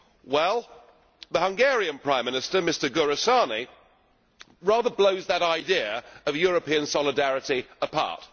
Well, the Hungarian Prime Minister, Mr Ferenc Gyurcsany, rather blows that idea of European solidarity apart.